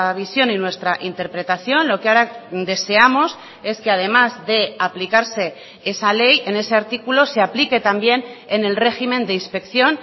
visión y nuestra interpretación lo que ahora deseamos es que además de aplicarse esa ley en ese artículo se aplique también en el régimen de inspección